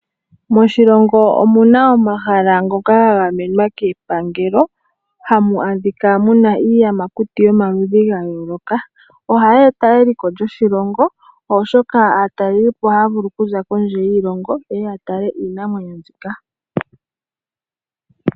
Moshilongo omuna omahala ngoka gagamenwa kepangelo. Hamu adhika muna iiyamakuti yomaludhi ga yayooloka. Ohayi eta eliko lyoshilongo, oshoka aatalelipo ohaya vulu oku za kondje yoshilongo yeye ya tale iinamwenyo mbika.